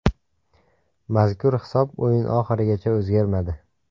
Mazkur hisob o‘yin oxirigacha o‘zgarmadi.